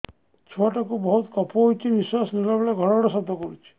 ଛୁଆ ଟା କୁ ବହୁତ କଫ ହୋଇଛି ନିଶ୍ୱାସ ନେଲା ବେଳେ ଘଡ ଘଡ ଶବ୍ଦ ହଉଛି